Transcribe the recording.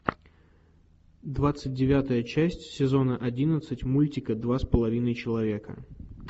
двадцать девятая часть сезона одиннадцать мультика два с половиной человека